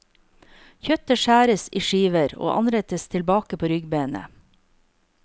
Kjøttet skjæres i skiver og anrettes tilbake på ryggbenet.